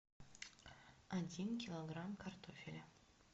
один килограмм картофеля